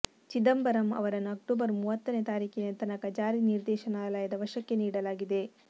ಚಿದಂಬರಂ ಅವರನ್ನು ಅಕ್ಟೋಬರ್ ಮೂವತ್ತನೇ ತಾರೀಕಿನ ತನಕ ಜಾರಿ ನಿರ್ದೇಶನಾಲಯದ ವಶಕ್ಕೆ ನೀಡಲಾಗಿದೆ